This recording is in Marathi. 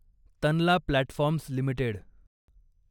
Tanla platforms limited